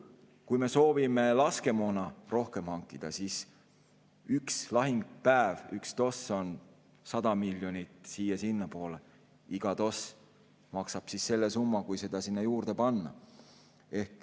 Kui me soovime laskemoona rohkem hankida, siis üks lahingupäev, üks TOS on 100 miljonit siia-sinnapoole, iga TOS maksab selle summa, kui see sinna juurde panna.